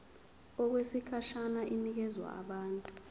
okwesikhashana inikezwa abantu